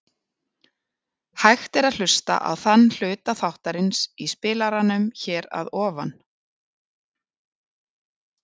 Hægt er að hlusta á þann hluta þáttarins í spilaranum hér að ofan.